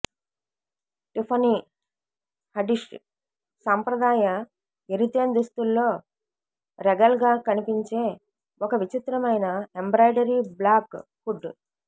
Tiffany Haddish సాంప్రదాయ Eritrean దుస్తుల్లో regal గా కనిపించే ఒక విచిత్రమైన ఎంబ్రాయిడరీ బ్లాక్ హుడ్